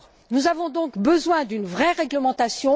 Nous avons donc besoin d'une vraie réglementation.